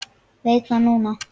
Veit það núna.